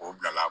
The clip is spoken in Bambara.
O bila la